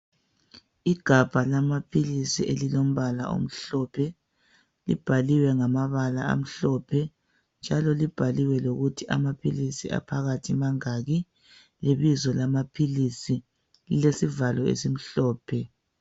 Igabha lamaphilisi elilombala omhlophe libhaliwe ngamabala amhlophe njalo libhaliwe lokuthi amaphilisi aphakathi mangaki, lebizo lamaphilisi. Lilesivalo esimhlophe.